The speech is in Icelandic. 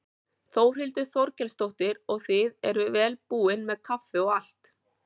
Þórhildur Þorkelsdóttir: Og þið eruð vel búin með kaffi og allt?